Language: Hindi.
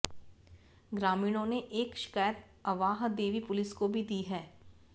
ग्रामीणों ने एक शिकायत अवाहदेवी पुलिस को भी दी है